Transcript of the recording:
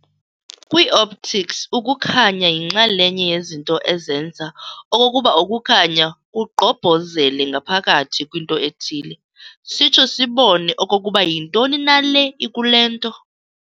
Kwii-optics, ukukhanya yinxalenye yezinto aezenza okokuba ukukhanya kugqobhozele ngaphakathi kwinto ethile, sitsho sibone okokuba yintoni na le ikule nto.